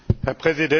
Herr